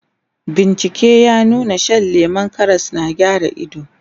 bincike ya nuna Shan lemun Karas na gyara ido